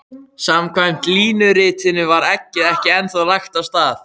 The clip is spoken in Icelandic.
Samkvæmt línuritinu var eggið ekki ennþá lagt af stað.